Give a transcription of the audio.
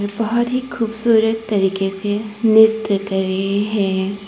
बहुत ही खूबसूरत तरीके से नृत्य कर रही है।